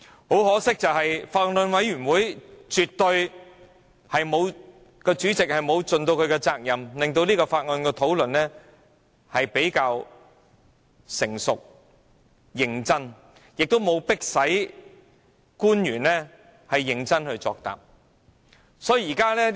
很可惜，法案委員會主席絕對沒有盡其責任，令《條例草案》的討論比較成熟、認真，亦沒有迫使官員認真作答。